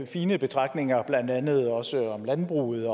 fine betragtninger blandt andet også om landbruget